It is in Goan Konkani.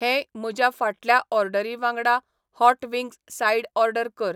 हेय म्हज्या फाटल्या ऑर्डरीवांगडा हॉट वींग्ज साइड ऑर्डर कर